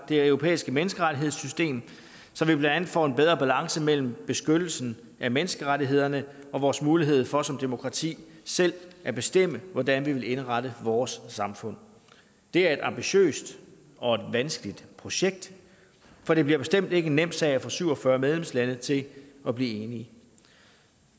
det europæiske menneskerettighedssystem så vi blandt andet får en bedre balance mellem beskyttelsen af menneskerettighederne og vores mulighed for som demokrati selv at bestemme hvordan vi vil indrette vores samfund det er et ambitiøst og vanskeligt projekt for det bliver bestemt ikke en nem sag at få syv og fyrre medlemslande til at blive enige